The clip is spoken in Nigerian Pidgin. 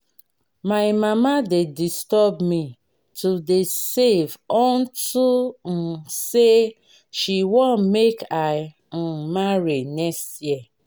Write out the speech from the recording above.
my mama dey disturb me to dey save unto um say she wan make i um marry next year